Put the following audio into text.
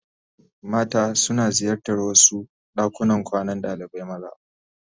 Mata suna ziyartar wasu dakunan kwanan dalibai maza.